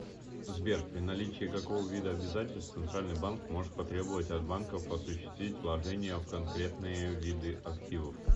сбер при наличии какого вида обязательств центральный банк может потребовать от банков осуществить вложения в конкретные виды активов